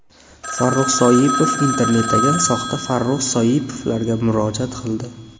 Farruh Soipov internetdagi soxta Farruh Soipovlarga murojaat qildi .